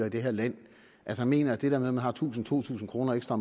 i det her land at han mener at det der med om man har tusind to tusind kroner ekstra